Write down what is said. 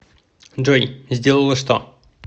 джой сделала что